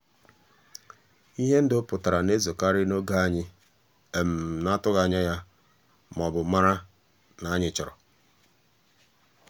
ihe ndụ pụtara na-ezokarị n'oge anyị na-atụghị anya ya ma ọ bụ mara na anyị chọrọ.